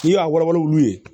N'i y'a wala wuru ye